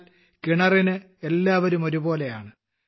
എന്നാൽ കിണറിന് എല്ലാവരും ഒരുപോലെയാണ്